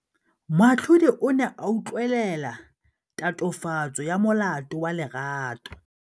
Moatlhodi o ne a utlwelela tatofatsô ya molato wa Lerato.